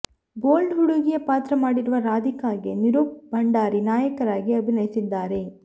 bold ಹುಡುಗಿಯ ಪಾತ್ರ ಮಾಡಿರುವ ರಾಧಿಕಾಗೆ ನಿರೂಪ್ ಭಂಡಾರಿ ನಾಯಕರಾಗಿ ಅಭಿನಯಿಸಿದ್ದಾರೆ